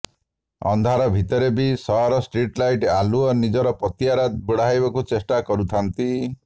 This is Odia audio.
ଅନ୍ଧାର ଭିତରେ ବି ସହରରଷ୍ଟ୍ରିଟ୍ ଲାଇଟ୍ ଆଲୁଅ ନିଜର ପତିଆରା ବଢାଇବାକୁ ଚେଷ୍ଟା କରୁଥାନ୍ତି